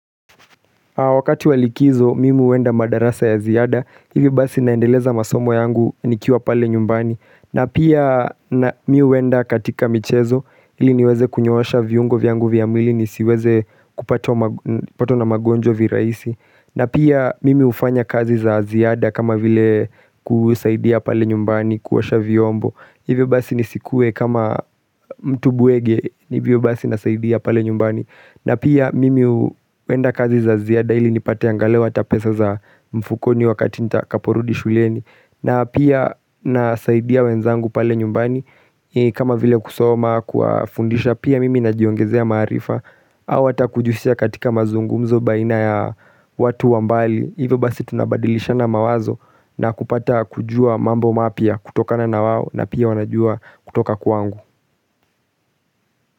Wakati walikizo, mimi huenda madarasa ya ziada. Hivi basi naendeleza masomo yangu nikiwa pale nyumbani. Na pia mi uwenda katika michezo, ili niweze kunyooasha viungo viangu viamwili ni siweze kupato na mgonjwa viraisi. Na pia mimi ufanya kazi za ziada kama vile kusaidia pale nyumbani, kuosha viombo. Hivi basi nisikue kama mtu buwege ni viubasi nasaidia pale nyumbani. Na pia mimi wenda kazi za ziada hili nipate angale watapesa za mfukoni wakati nita kaporudi shulieni na pia nasaidia wenzangu pale nyumbani kama vile kusoma kwa fundisha pia mimi najiongezea marifa Awa takujusia katika mazungumzo baina ya watu wambali Hive basi tunabadilisha na mawazo na kupata kujua mambo mapya kutokana na wawo na pia wanajua kutoka kwangu.